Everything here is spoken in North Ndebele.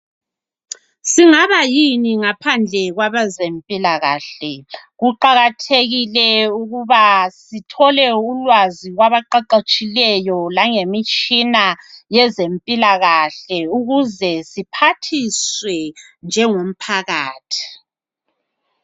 Singaba yini ngaphandle kwabezempilakahle, kuqakathekile ukuba sithole ulwazi kwabaqeqetshileyo langemitshina yezempilakahle ukuze siphathiswe njengomphakathi.